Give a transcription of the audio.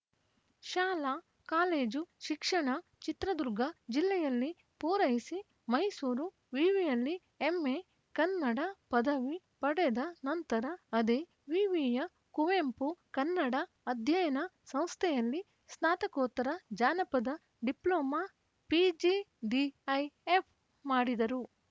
ಶಾಲಾಕಾಲೇಜು ಶಿಕ್ಷಣ ಚಿತ್ರದುರ್ಗ ಜಿಲ್ಲೆಯಲ್ಲಿ ಪೂರೈಸಿ ಮೈಸೂರು ವಿವಿಯಲ್ಲಿ ಎಂಎ ಕನ್ನಡ ಪದವಿ ಪಡೆದ ನಂತರ ಅದೇ ವಿವಿಯ ಕುವೆಂಪು ಕನ್ನಡ ಅಧ್ಯಯನ ಸಂಸ್ಥೆಯಲ್ಲಿ ಸ್ನಾತಕೋತ್ತರ ಜಾನಪದ ಡಿಪ್ಲೋಮಾ ಪಿಜಿಡಿಐಎಫ್‌ ಮಾಡಿದರು